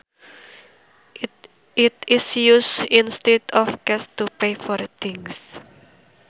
It is used instead of cash to pay for things